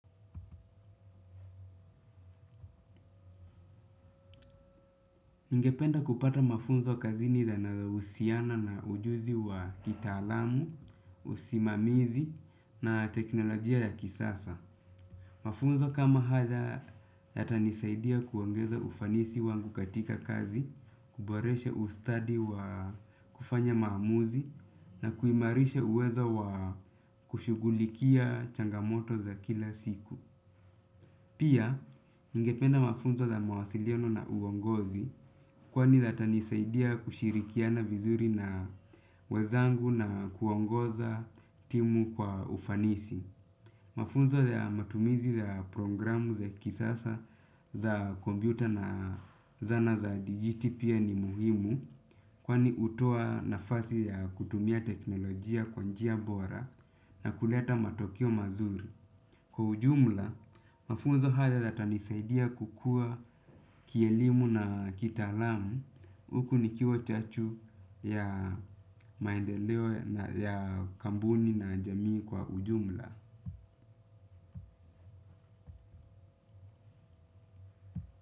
Ningependa kupata mafunzo kazini yanayo husiana na ujuzi wa kitaalamu, usimamizi na teknolojia ya kisasa. Mafunzo kama haya yatanisaidia kuongeza ufanisi wangu katika kazi, kuboreshe ustadi wa kufanya maamuzi na kuimarisha uwezo wa kushugulikia changamoto za kila siku. Pia, nigependa mafunzo za mawasiliano na uongozi kwani yatanisaidia kushirikiana vizuri na wezangu na kuongoza timu kwa ufanisi. Mafunzo ya matumizi ya programu za kisasa za kompyuta na zana za digiti pia ni muhimu kwani hutoa nafasi ya kutumia teknolojia kwa njia bora na kuleta matokeo mazuri. Kwa ujumla, mafunzo haya yatanisaidia kukua kielimu na kitaalamu huku nikiwa chachu ya maendeleo ya kampuni na jamii kwa ujumla.